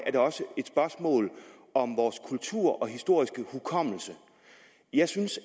er det også et spørgsmål om vores kultur og historiske hukommelse jeg synes